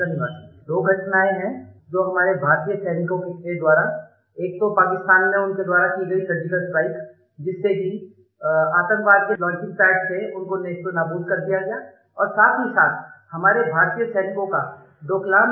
Two actions taken by our Indian soldiers deserve a special mention one was the Surgical Strike carried out in Pakistan which destroyed launching pads of terrorists and the second was the unique valour displayed by Indian soldiers in Doklam